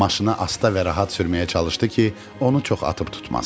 Maşını asta və rahat sürməyə çalışdı ki, onu çox atıb tutmasın.